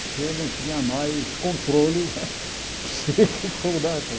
Porque eu não tinha mais controle eh psíquico, né?